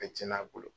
Ka cɛn a bolo